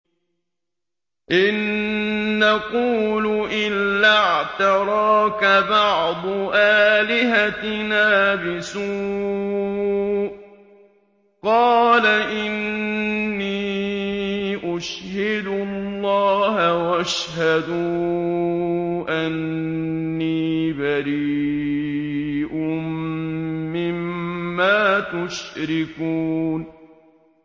إِن نَّقُولُ إِلَّا اعْتَرَاكَ بَعْضُ آلِهَتِنَا بِسُوءٍ ۗ قَالَ إِنِّي أُشْهِدُ اللَّهَ وَاشْهَدُوا أَنِّي بَرِيءٌ مِّمَّا تُشْرِكُونَ